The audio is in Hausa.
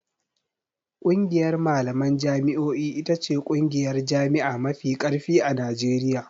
ƙungiyar malaman jami'o'i ita ce ƙungiyar jami'a mafi ƙarfi a Najeriya.